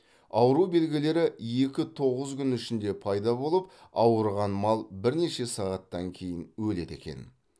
ауру белгілері екі тоғыз күн ішінде пайда болып ауырған мал бірнеше сағаттан кейін өледі екен